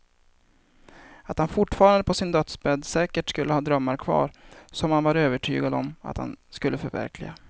Att han fortfarande på sin dödsbädd säkert skulle ha drömmar kvar som han var övertygad om att han skulle förverkliga.